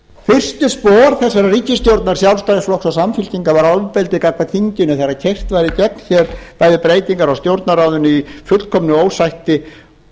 fyrstu spor þessarar ríkisstjórnar sjálfstæðisflokks og samfylkingar var ofbeldi gagnvart þinginu þegar keyrt var í gegn hér bæði breytingar á stjórnarráðinu í fullkomnu ósætti